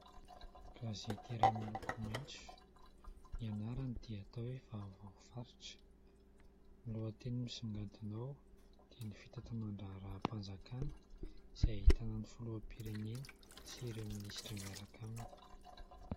Gazety iray miloko maintso, ny anarany dia atao hoe : Vaovao faritra. Ny lohateny misongadina ao dia ny fitantanan- draharaham- panjakana, izay ahitana ny filoham- pirenena sy ireo minisitra miaraka aminy.